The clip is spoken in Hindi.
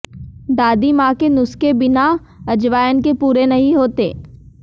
दादी मां के नुस्खे बिना अजवायन के पूरे नहीं होते